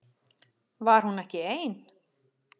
Var hún ekki ein?